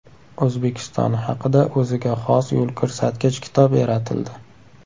O‘zbekiston haqida o‘ziga xos yo‘lko‘rsatkich kitob yaratildi.